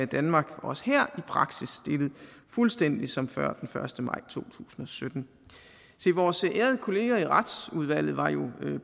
danmark også her i praksis stillet fuldstændig som før den første maj to tusind og sytten se vores ærede kollegaer i retsudvalget var jo